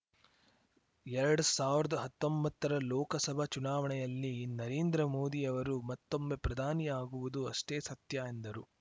ಎರಡ್ ಸಾವಿರ್ದ್ ಹತ್ತೊಂಬತ್ತರ ಲೋಕಸಭಾ ಚುನಾವಣೆಯಲ್ಲಿ ನರೇಂದ್ರ ಮೋದಿ ಅವರು ಮತ್ತೊಮ್ಮೆ ಪ್ರಧಾನಿ ಆಗುವುದು ಅಷ್ಟೇ ಸತ್ಯ ಎಂದರು